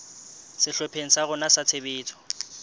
sehlopheng sa rona sa tshebetso